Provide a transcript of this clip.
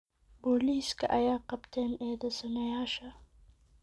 Poliska aya kabteen eedesanayasha.